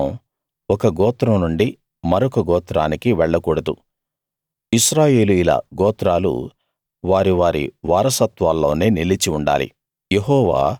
వారసత్వం ఒక గోత్రం నుండి మరొక గోత్రానికి వెళ్ళకూడదు ఇశ్రాయేలీయుల గోత్రాలు వారి వారి వారసత్వాల్లోనే నిలిచి ఉండాలి